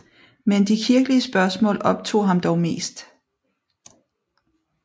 Men de kirkelige spørgsmål optog ham dog mest